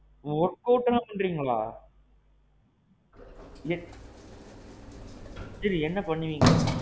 ஓ work out எல்லாம் பண்றீங்களா? இல்ல. சேரி என்ன பண்ணுவீங்க?